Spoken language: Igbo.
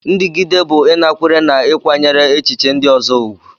Ndigide bụ ịnakwere na ịkwanyere echiche ndị ọzọ ùgwù.